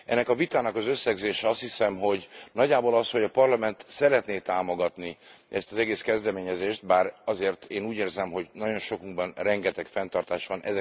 Ennek a vitának az összegzése azt hiszem, hogy nagyjából az, hogy a Parlament szeretné támogatni ezt az egész kezdeményezést, bár én azért úgy érzem, hogy nagyon sokunkban rengeteg fenntartás van.